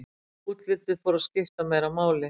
Útlitið fór að skipta meira máli.